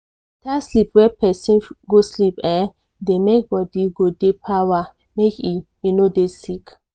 beta sleep wey persin go sleep[um]dey make body get di power make e e no dey sick.